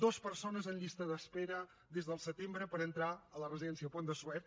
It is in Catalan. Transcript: dos persones en llista d’espera des del setembre per entrar a la residència pont de suert